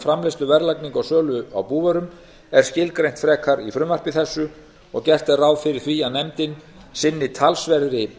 framleiðslu verðlagningu og sölu á búvörum er skilgreint frekar í frumvarpi þessu og gert ráð fyrir því að nefndin sinni talsverðri